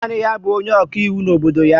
Naanị ya bụ onye ọkaiwu n'obodo ya